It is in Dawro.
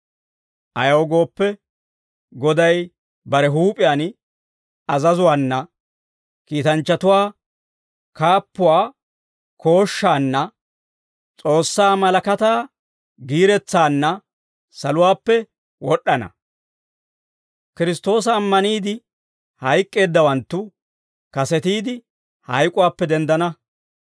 Ayaw gooppe, Goday bare huup'iyaan azazuwaana, kiitanchchatuwaa kaappuwaa kooshshaanna, S'oossaa malakataa giiretsaanna saluwaappe wod'd'ana. Kiristtoosa ammaniide hayk'k'eeddawanttu kasetiide hayk'uwaappe denddana.